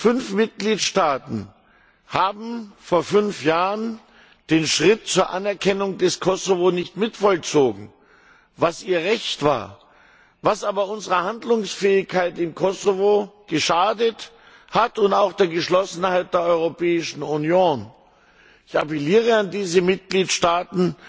Fünf Mitgliedstaaten haben vor fünf Jahren den Schritt zur Anerkennung des Kosovo nicht mitvollzogen, was ihr Recht war, was aber unserer Handlungsfähigkeit im Kosovo geschadet hat und auch der Geschlossenheit der Europäischen Union. Ich appelliere an diese Mitgliedstaaten,